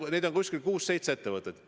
Neid on kuus-seitse ettevõtet.